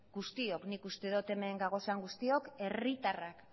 guztiok nik uste dut hemen gaudenok guztiok herritarrak